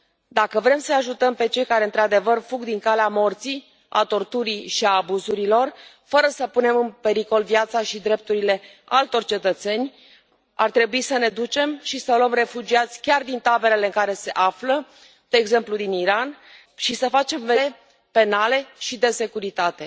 Dacă vrem să îi ajutăm pe cei care într adevăr fug din calea morții, a torturii și a abuzurilor, fără să punem în pericol viața și drepturile altor cetățeni, ar trebui să ne ducem și să luăm refugiați chiar din taberele în care se află, de exemplu din Iran, și să facem verificări medicale, penale și de securitate.